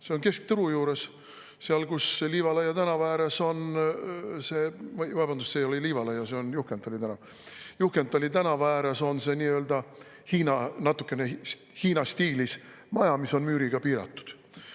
See on keskturu juures – seal, kus Juhkentali tänava ääres on selline natukene hiina stiilis maja, mis on müüriga piiratud.